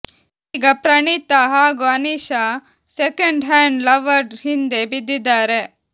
ಈಗ ಪ್ರಣೀತಾ ಹಾಗೂ Aneesha second hand lover ಹಿಂದೆ ಬಿದ್ದಿದ್ದಾರೆ